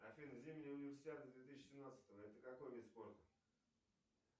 афина зимняя универсиада две тысячи семнадцатого это какой вид спорта